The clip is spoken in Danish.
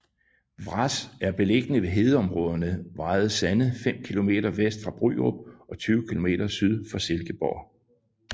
Vrads er beliggende ved hedeområderne Vrads Sande fem kilometer vest for Bryrup og 20 kilometer syd for Silkeborg